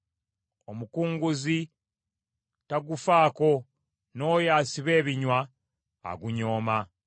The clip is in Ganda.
Omukunguzi tagufaako, n’oyo asiba ebinywa agunyooma.